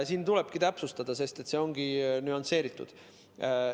Siin tuleb täpsustada, sest see ongi nüansseeritud.